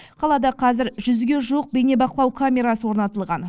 қалада қазір жүзге жуық бейнебақылау камерасы орнатылған